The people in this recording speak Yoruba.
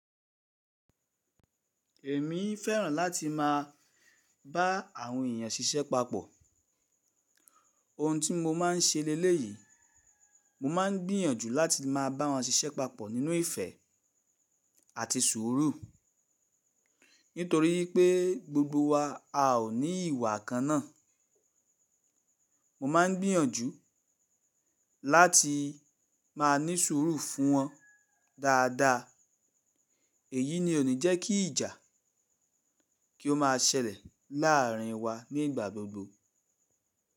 Èmi fẹ́ràn láti má a bá àwọn èèyàn ṣiṣẹ́ papọ̀. Ohun tí mo máa ń ṣe leléyìí, mo máa ń gbìyànjú láti má a bá wọn ṣiṣẹ́ papọ̀ nínú ìfẹ́ àti sùúrù. Nítorí pé gbogbo wa a ò ní ìwà kan ná. Mo ma ń gbìyànjú láti máa ní sùúrù fún wọn dáadáa. Èyí ni ó ní jẹ́ kí ìjà kí ó má a ṣẹlẹ̀ láàrin wa ni ígbà gbogbo.